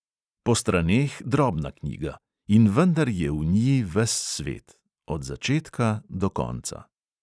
Po straneh drobna knjiga; in vendar je v nji ves svet – od začetka do konca.